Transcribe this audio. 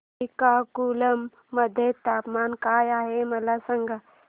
श्रीकाकुलम मध्ये तापमान काय आहे मला सांगा